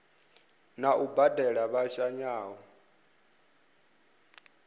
na u badela vha shayaho